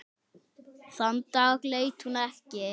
Þann dag leit hún ekki.